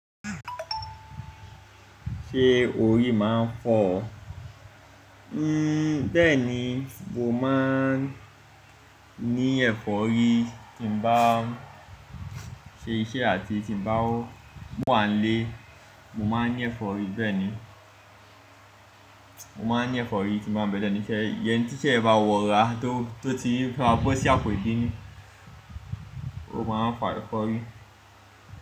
Ṣé orí máa ń fọ́ ọ? Bẹ́ẹ̀ni, mo máa ń ní ẹ̀fọ́rí tí n m bá ṣe iṣẹ́ àti tí mo bá wà nílé, mo máa ń ní ẹ̀fọ́rí bẹ́ẹ̀ ni. Mo máa ń ní ẹ̀fọ́rí tí n bá be lẹ́nu iṣẹ́, iyẹn tíṣẹ̀ yen bá wo ra tó, tó ti fe ma bosi àpò ìbínú. O máa ń fa ẹ̀fọ́rí.